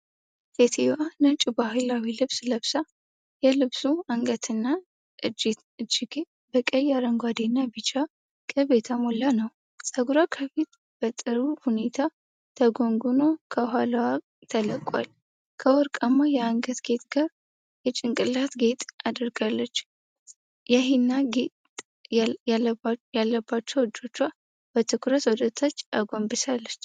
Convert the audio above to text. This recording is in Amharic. ሴትየዋ ነጭ ባህላዊ ልብስ ለብሳ፤ የልብሱ አንገትና እጅጌ በቀይ፣ አረንጓዴና ቢጫ ቅብ የተሞላ ነው። ፀጉሯ ከፊት በጥሩ ሁኔታ ተጎንጉኖ ከኋላ ተለቋል፤ ከወርቃማ የአንገት ጌጥ ጋር የጭንቅላት ጌጥ አድርጋለች። የሂና ጌጥ ያለባቸውን እጆቿን በትኩረት ወደታች አጎንብሳለች።